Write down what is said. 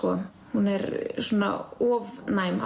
hún er svona of næm